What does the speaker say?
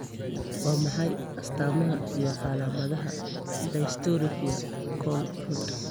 Waa maxay astamaha iyo calaamadaha dystrophy Cone rod?